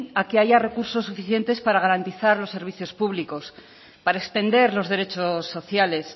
a que haya recursos suficientes para garantizar los servicios públicos para extender los derechos sociales